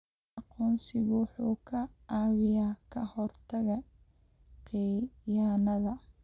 Aqoonsigu wuxuu kaa caawinayaa ka hortagga khiyaanada.